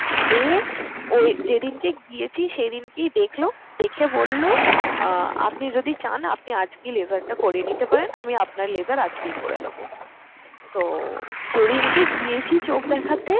আহ ওই যেদিনকে গিয়েছি সেদিনকেই দেখলো। দেখে বলল, আপনি যদি চান আপনি আজকেই laser টা করিয়ে নিতে পারেন, আমি আপনার laser আজকেই করে দেবো। তো যেদিনকে গিয়েছি চোখ দেখাতে